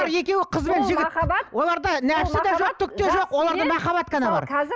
екеуі қыз бен жігіт оларда нәпсі де жоқ түк те жоқ оларда махаббат қана бар